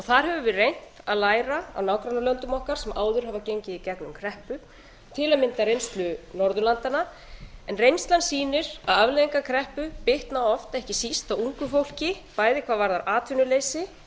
þar höfum við reynt að læra af nágrannalöndum okkar sem áður hafa gengið í gegnum kreppu til að mynda reynslu norðurlandanna en reynslan sýnir að afleiðingar kreppu bitna oft ekki síst á ungu fólki bæði hvað varðar atvinnuleysi